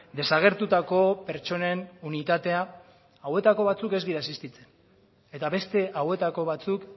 desagertutako pertsonen unitatea hauetako batzuk ez dira existitzen eta beste hauetako batzuk